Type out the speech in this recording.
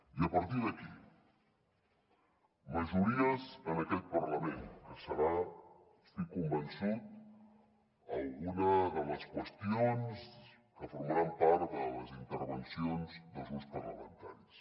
i a partir d’aquí majories en aquest parlament que serà n’estic convençut alguna de les qüestions que formaran part de les intervencions dels grups parlamentaris